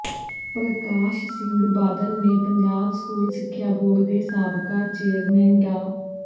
ਪਰਕਾਸ਼ ਸਿੰਘ ਬਾਦਲ ਨੇ ਪੰਜਾਬ ਸਕੂਲ ਸਿੱਖਿਆ ਬੋਰਡ ਦੇ ਸਾਬਕਾ ਚੇਅਰਮੈਨ ਡਾ